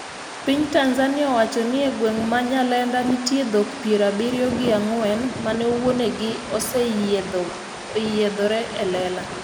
Piny Tanzania owacho ne e gweng' ma Nyalenda nitie dhok piero abiriyo gi ang'wen mane wuonegi osenyiedhore elela,